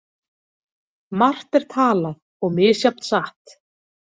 Margt er talað og misjafnt satt.